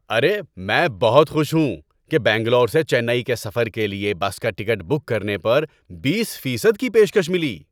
ارے! میں بہت خوش ہوں کہ بنگلور سے چنئی کے سفر کے لیے بس کا ٹکٹ بک کرنے پر بیس فیصد کی پیشکش ملی۔